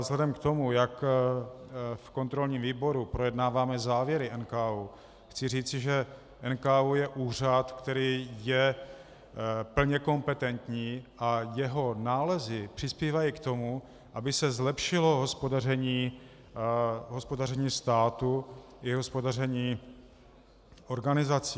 Vzhledem k tom, jak v kontrolním výboru projednáváme závěry NKÚ, chci říci, že NKÚ je úřad, který je plně kompetentní, a jeho nálezy přispívají k tomu, aby se zlepšilo hospodaření státu i hospodaření organizací.